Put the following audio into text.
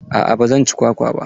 Aa ba zan ci kwakwa ba.